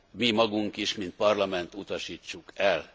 mi magunk is, mint Parlament, utasítsuk el.